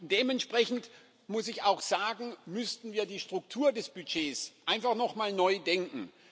Dementsprechend, muss ich auch sagen, müssten wir die Struktur des Budgets einfach nochmal neu denken.